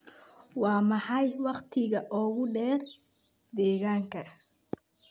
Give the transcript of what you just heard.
waa maxay wakhtiga ugu dheer deegaanka